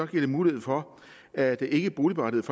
det mulighed for at ikkeboligberettigede